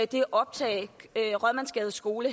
det optag rådmandsgades skole